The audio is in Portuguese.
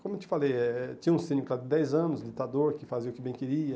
Como eu te falei, eh eh tinha um síndico há dez anos, ditador, que fazia o que bem queria.